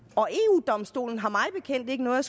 og eu domstolen har mig bekendt ikke noget